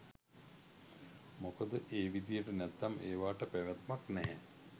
මොකද ඒවිදියට නැත්නම් ඒවාට පැවැත්මක් නැහැ